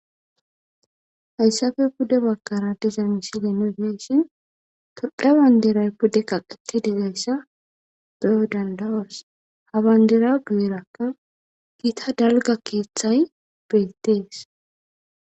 Hayssape pude baggaara de7iza mislen nu be7ishin tophphiya banddiray pude kaqeththidizaysa be7o dandda7oos; ha banddira guyeerakka githa dalgga keeththay beeththees.